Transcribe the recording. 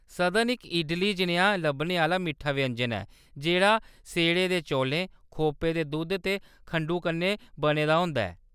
संदन इक इडली जनेहा लब्भने आह्‌‌‌ला मिट्ठा व्यंजन ऐ जेह्‌‌ड़ा सेड़े दे चौलें, खोपे दे दुद्धै ते खंडु कन्नै बने दा होंदा ऐ।